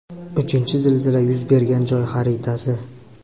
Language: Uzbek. Uchinchi zilzila yuz bergan joy xaritasi.